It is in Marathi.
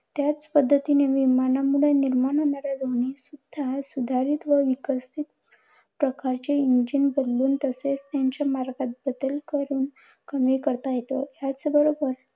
त्याच पद्धतीने विमानामुळे निर्माण होणाऱ्या ध्वनी सुद्धा सुधारित व विकसित प्रकारचे engine बनवून तसेच त्यांच्या मार्गात बदल करून कमी करता येतो. त्याचबरोबर